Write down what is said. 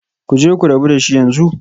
Ku je ku rabu da shi yanzu